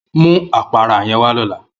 Mu apara yen wa lola!